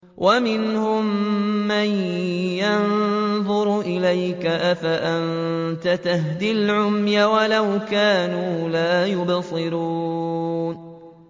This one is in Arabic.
وَمِنْهُم مَّن يَنظُرُ إِلَيْكَ ۚ أَفَأَنتَ تَهْدِي الْعُمْيَ وَلَوْ كَانُوا لَا يُبْصِرُونَ